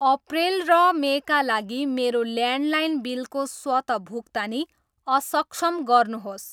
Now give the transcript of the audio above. अप्रेल र मे का लागि मेरो ल्यान्डलाइन बिलको स्वत भुक्तानी असक्षम गर्नुहोस्।